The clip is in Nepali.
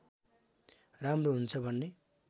राम्रो हुन्छ भन्ने